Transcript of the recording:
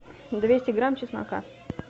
двести грамм чеснока